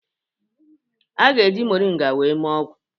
A ga-eji Moringa wee mee ọgwụ